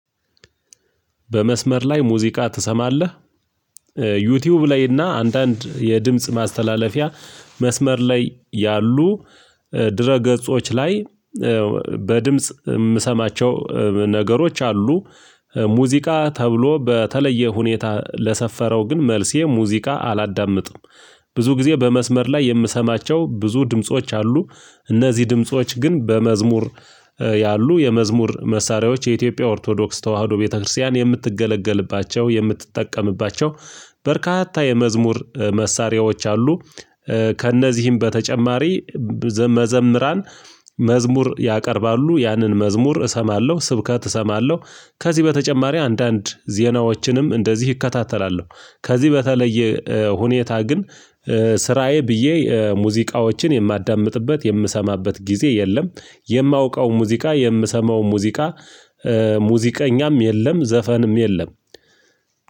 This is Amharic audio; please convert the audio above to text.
በመስመር ላይ ሙዚቃ ትሰማለህ? ዩቲዩብ ላይና አንዳንድ የድምጽ ማስተላለፊያ መስመር ላይ ያሉ ድረ ገጾች ላይ በድምጽ የምሰማቸው ነገሮች አሉ። ሙዚቃ ተብሎ በተለየ ሁኔታ ለሰፈረው ግን መልሴ ሙዚቃ አላዳምጥም። ብዙ ጊዜ በመስመር ላይ የምሰማቸው ብዙ ድምጾች አሉ። እነዚህ ድምጾች ግን በመዝሙር ያሉ የመዝሙር መሳሪያዎች የኢትዮጵያ ኦርቶዶክስ ተዋህዶ ቤተክርስቲያን የምትገለገልባቸው የምትጠቀምባቸው በርካታ የመዝሙር መሳሪያዎች አሉ። ከእነዚህም በተጨማሪ መዘምራን መዝሙር ያቀርባሉ ያንን መዝሙር እሰማለሁ ስብከት እሰማለሁ። ከዚህ በተጨማሪ አንዳንድ ዜናዎችንም እንደዚህ እከታተላለሁ። ከዚህ በተለየ ሁኔታ ግን ስራዬ ብዬ ሙዚቃዎችን የማዳምጥበት የምሰማበት ጊዜ የለም። የማውቀው ሙዚቃ የምሰማው ሙዚቃ ሙዚቀኛም የለም ዘፈንም የለም።